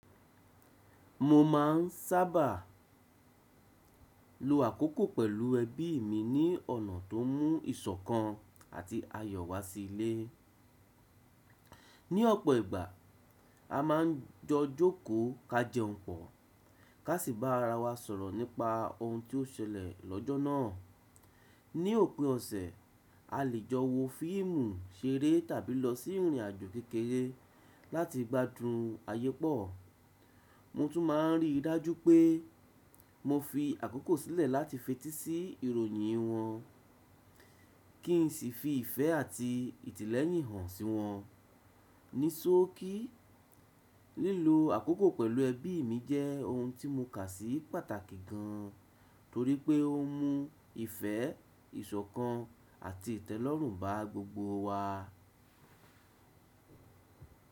Mo máà ń sábà lo àkókò pẹ̀lú ẹbí mi ní ọ̀nà tó mú ìṣọ̀kan àti ayọ̀ wá sí ilé. Ni ọ̀pọ̀ ìgbà, a máà ń jọ jókòó ká jẹun pọ̀, ká sì bá ara wa sọ̀rọ̀ nípa ohun tí ó ṣẹlẹ̀ lọ́jọ́ náà. Ni òpin ọ̀sẹ̀, a lè jọ wo fíìmù ṣeré tàbí lọ sí ìrìnàjò kékeré láti gbádùn ayẹpọ̀. Mo tún máà ń rí i dájú pé mo fi àkókò sílẹ̀ láti fetí sí ìròyìn wọn kí n sì fi ìfẹ́ àti ìtẹ́lẹ́hin hàn sí wọn. Ni sọ́ọ̀kì, lílo àkókò pẹ̀lú ẹbí mi jẹ́ ohun tí mo kà sí pàtàkì gan torí pé ó mú ìfẹ́, ìṣọ̀kan àti ìtẹ́lọ́rùn bá gbogbo wa.